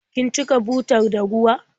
Kin cika butar da ruwa?